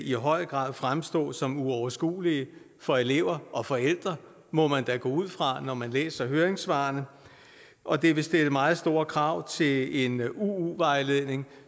i høj grad fremstå som uoverskuelige for elever og forældre må man da gå ud fra når man læser høringssvarene og det vil stille meget store krav til en uu vejledning